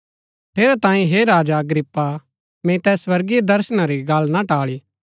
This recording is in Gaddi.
ठेरैतांये हे राजा अग्रिप्पा मैंई तैस स्वर्गीय दर्शना री गल्ल ना टाळी